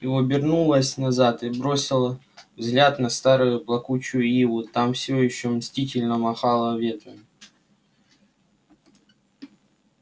и обернулась назад и бросила взгляд на старую плакучую иву та все ещё мстительно махала ветвями